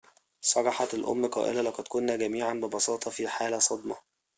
صرحت الأم قائلةً لقد كنا جميعاً ببساطة في حالة صدمة